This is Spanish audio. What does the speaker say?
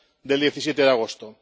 del 17 de agosto.